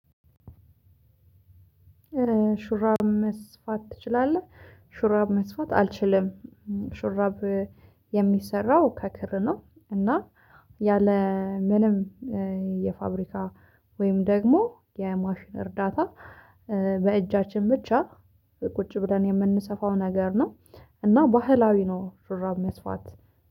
ሹራብ መስፋት ትችላለህ? ሹራብ መስፋት አልችልም። ሹራብ የሚሰራው ከክር ነው። እና ያለ ምንም የፋብሪካ ወይም ደግሞ የማሽን እርዳታ። በእጃችን ብቻ ቁጭ ብለን የምንሰፋው ነገር ነው። እና ባህላዊ ነው ሹራብ መስፋት።